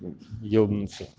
ёбнуться